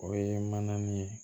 O ye mana nin ye